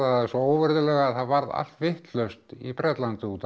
það svo óvirðulega það varð allt vitlaust í Bretlandi út af